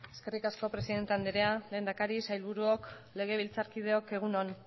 eskerrik asko presidente anderea lehendakari sailburuok legebiltzarkideok egun on